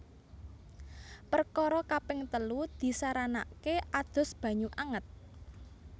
Perkara kaping telu disaranake adus banyu anget